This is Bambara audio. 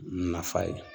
Nafa ye